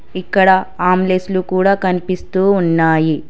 ఇక్కడ ఆమ్లెసులు కూడా కనిపిస్తూ ఉన్నాయి.